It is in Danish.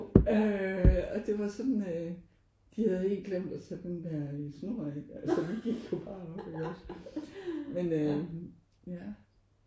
Øh og det var sådan øh de havde helt glemt at tage den der snor af. Altså vi gik jo bare op iggås men øh ja